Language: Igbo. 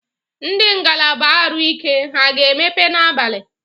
Ndị ngalaba arụike ha a na emepe na abalị?